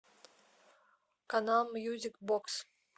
канал мьюзик бокс